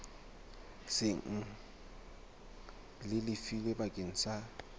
seng le lefilwe bakeng sa